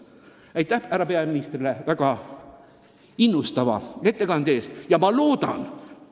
Aitäh härra peaministrile väga innustava ettekande eest!